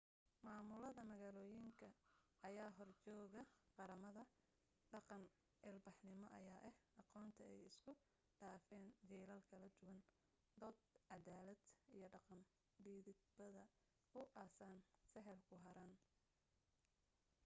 maamulada-magaaloyin ayaa horjeege qaramada dhaqan ilbaxnimo ayaa ah aqoonta ay isku dhaafan jiilal kala duwan dood cadaalada iyo dhaqan dhidibada u aasano sahal ku harin